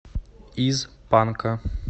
из панка